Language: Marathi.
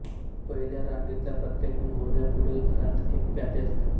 पहिल्या रांगेतल्या प्रत्येक मोहोऱ्या पुढील घरांत एक प्यादे असते